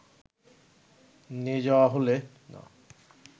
নিয়ে যাওয়া হলে